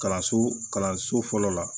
Kalanso kalanso fɔlɔ la